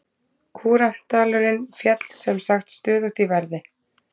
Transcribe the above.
Kúrantdalurinn féll sem sagt stöðugt í verði.